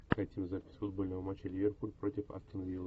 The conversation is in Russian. хотим запись футбольного матча ливерпуль против астон виллы